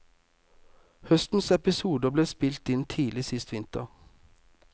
Høstens episoder ble spilt inn tidlig sist vinter.